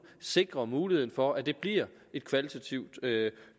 sikrer muligheden for at det bliver et kvalitativt